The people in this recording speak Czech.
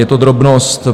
Je to drobnost.